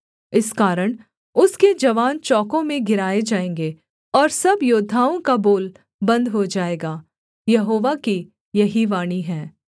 इस कारण उसके जवान चौकों में गिराए जाएँगे और सब योद्धाओं का बोल बन्द हो जाएगा यहोवा की यही वाणी है